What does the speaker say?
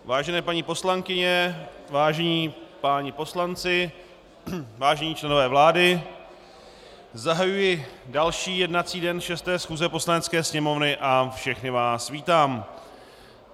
Vážené paní poslankyně, vážení páni poslanci, vážení členové vlády, zahajuji další jednací den 6. schůze Poslanecké sněmovny a všechny vás vítám.